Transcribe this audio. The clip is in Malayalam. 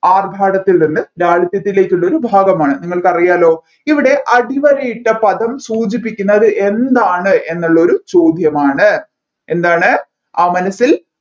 ആർഭാടത്തിൽ നിന്ന് ലാളിത്യത്തിലേക്കുള്ള ഒരു ഭാഗമാണ് നിങ്ങൾക്കറിയാലോ ഇവിടെ അടിവരയിട്ട പദം സൂചിപ്പിക്കുന്നത് എന്താണ് എന്നുള്ളൊരു ചോദ്യമാണ് എന്താണ് ആ മനസ്സിൽ